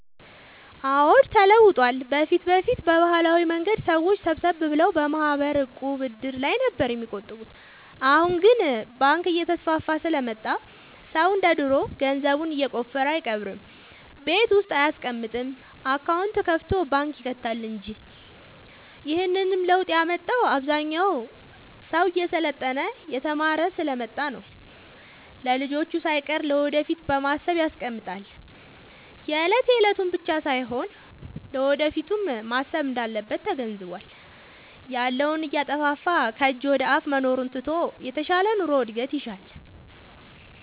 አዎድ ተለውጧል በፊት በፊት በባህላዊ መንገድ ሰዎች ሰብሰብ ብለው በማህበር፣ ዕቁብ፣ እድር ላይ ነበር የሚቆጥቡት አሁን ግን ባንክ እየተስፋፋ ስለመጣ ሰው እንደ ድሮ ገንዘቡን የቆፈረ አይቀብርም ቤት ውስጥ አይያስቀምጥም አካውንት ከፋቶ ባንክ ይከታል እንጂ ይህንንም ለውጥ ያመጣው አብዛኛው ሰው እየሰለጠነ የተማረ ስሐ ስለመጣ ነው። ለልጅቹ ሳይቀር ለወደፊት በማሰብ ያስቀምጣል የለት የለቱን ብቻ ሳይሆን ለወደፊቱም ማሰብ እንዳለበት ተገንዝቧል። ያለውን እያጠፋፋ ከጅ ወደአፋ መኖሩን ትቶ የተሻለ ኑሮ እድገት ይሻል።